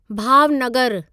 भावनगरु